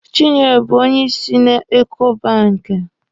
Chinyere bụ onyeisi na Eko banki.